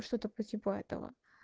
что-то по типу этого